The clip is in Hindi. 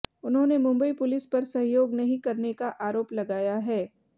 उन्होंने मुंबई पुलिस पर सहयोग नहीं करने का आरोप लगाया है